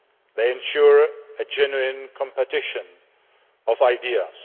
They ensure a genuine competition of ideas.